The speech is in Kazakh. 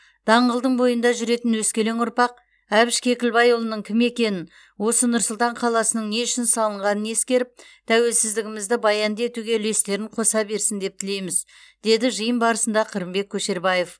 даңғылдың бойында жүретін өскелең ұрпақ әбіш кекілбайұлының кім екенін осы нұр сұлтан қаласының не үшін салынғанын ескеріп тәуелсіздігімізді баянды етуге үлестерін қоса берсін деп тілейміз деді жиын барысында қырымбек көшербаев